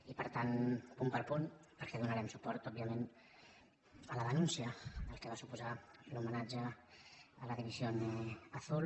i per tant punt per punt perquè donarem suport òbviament a la denúncia del que va suposar l’homenatge a la división azul